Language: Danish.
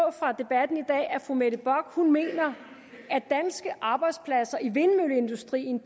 af at fru mette bock mener at danske arbejdspladser i vindmølleindustrien